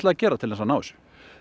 að gera til þess að ná þessu